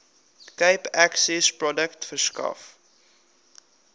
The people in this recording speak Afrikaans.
cape accessprojek verskaf